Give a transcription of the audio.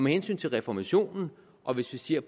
hensyn til reformationen og hvis vi ser